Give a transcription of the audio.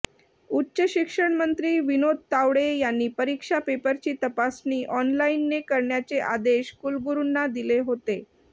उच्च शिक्षण मंत्री विनोद तावडे यांनी परीक्षा पेपरची तपासणी ऑनलाईनने करण्याचे आदेश कुलगुरुंना दिले होते